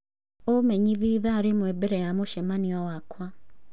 ũmenyithie ithaa rĩmwe mbere ya mũcemanio wakwa